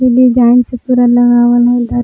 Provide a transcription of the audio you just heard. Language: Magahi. डिजाइन से पुरा लगावल ह--